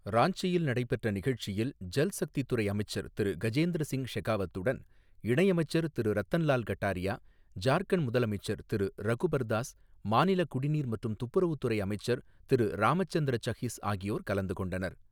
ராஞ்சியில் நடைபெற்ற நிகழ்ச்சியில் ஜல்சக்தித் துறை அமைச்சர் திரு கஜேந்திர சிங் ஷெகாவத்துடன், இணையமைச்சர் திரு ரத்தன்லால் கட்டாரியா, ஜார்க்கண்ட் முதலமைச்சர் திரு ரகுபர்தாஸ், மாநிலக் குடிநீர் மற்றும் துப்புரவுத் துறை அமைச்சர் திரு ராம்சந்திர சஹிஸ் ஆகியோர் கலந்து கொண்டனர்.